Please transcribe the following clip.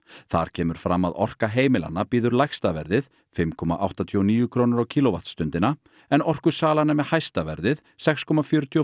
þar kemur fram að Orka heimilanna býður lægsta verðið fimm komma áttatíu og níu krónur á kílóvattsstundina en Orkusalan er með hæsta verðið sex komma fjörutíu og